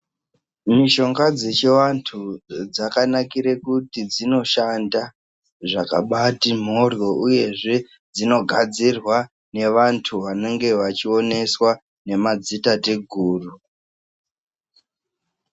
Mishonga dzechivanthu dzakanakire kuti dzinoshanda zvakabaati mhorhyo uyezve dzinogadzirwa ngevanthu vanenge vachioneswa ngemadzitateguru.